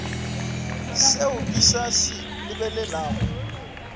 seo ke sa se lebogago